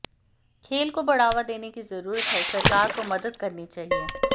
खेल को बढ़ावा देने की जरूरत है सरकार को मदद करनी चाहिए